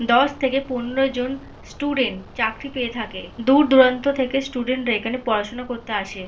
দশ থেকে পনেরো জন স্টুডেন্ট চাকরি পেয়ে থাকে দূর দূরান্ত থেকে স্টুডেন্ট রা এখানে পড়াশোনা করতে আসে।